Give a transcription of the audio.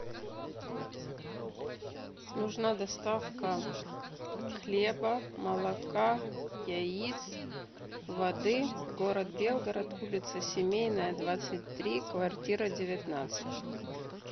нужна доставка хлеба молока яиц воды город белгород улица семейная двадцать три квартира девятнадцать